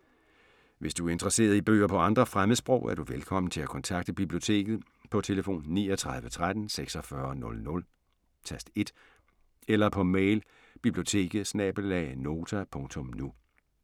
Hvis du er interesseret i bøger på andre fremmedsprog, er du velkommen til at kontakte Biblioteket på tlf. 39 13 46 00, tast 1 eller på mail biblioteket@nota.nu.